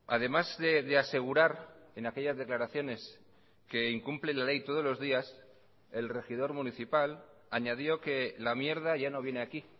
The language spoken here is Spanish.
además de asegurar en aquellas declaraciones que incumple la ley todos los días el regidor municipal añadió que la mierda ya no viene aquí